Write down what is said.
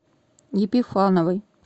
епифановой